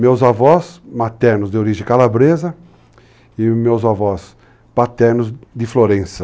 Meus avós, maternos de origem calabresa, e meus avós paternos de Florença.